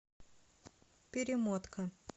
перемотка